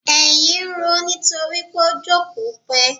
Èyìn ń roó nítorí pó jókòó pẹ́!